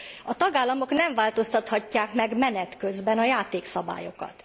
A tagállamok nem változtathatják meg menet közben a játékszabályokat.